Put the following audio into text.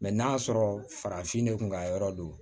n'a sɔrɔ farafin de kun ka yɔrɔ don